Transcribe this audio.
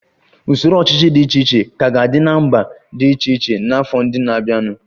Usoro ọchịchị dị iche iche ka ga-adị na mba dị iche iche n'afọ ndị na-abịanụ